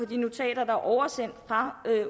de notater der er oversendt fra